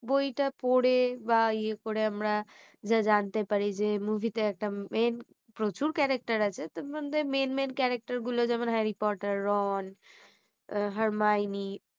বইটা পড়ে বা ইয়ে করে আমরা যা জানতে পারি যে movie টা একটা main প্রচুর character আছে তার মধ্যে main main character গুলো যেমন harry porter ron harmayoni